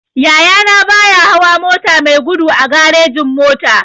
Yaya na baya hawa mota mai gudu a garejin-mota.